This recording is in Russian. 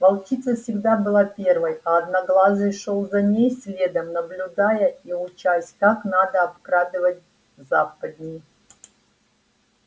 волчица всегда была первой а одноглазый шёл за ней следом наблюдая и учась как надо обкрадывать западни